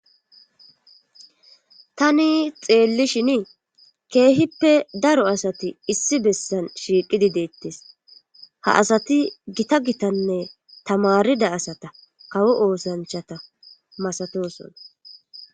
tani xeelli shinii keehippe daro asati issi bessan shiiqidi deettes ha asati gita gitanne tamarida asata kawo oosanchata masatoson